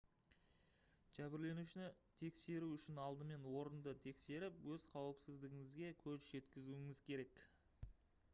жәбірленушіні тексеру үшін алдымен орынды тексеріп өз қауіпсіздігіңізге көз жеткізуіңіз керек